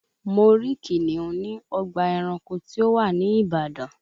Mo rí kìnìún ní ọgbà ẹranko tí ó wà ní ìbàdàn